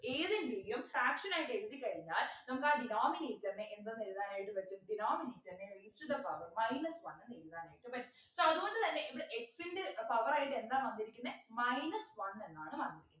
ഏതിൻ്റെ എങ്കിലും fraction ആയിട്ട് എഴുതിക്കഴിഞ്ഞാൽ നമുക്കാ denominator നെ എന്ത് ന്ന് എഴുതാനായിട്ട് പറ്റും denominator നെ is to the power minus one എന്ന് എഴുതാനായിട്ട് പറ്റും so അതുകൊണ്ട് തന്നെ ഇവിടെ x ൻ്റെ power ആയിട്ട് എന്താ വന്നിരിക്കുന്നെ minus one എന്നാണ് വന്നെ